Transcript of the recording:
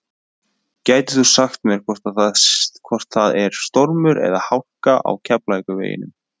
gætir þú sagt mér hvort það er stormur eða hálka á keflavíkurveginum